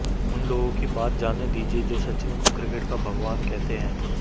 उन लोगों की बात जाने दीजिये जो सचिन को क्रिकेट का भगवान कहते हैं